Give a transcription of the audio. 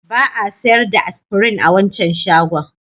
Ba a sayar da Aspirin a wancan shagon.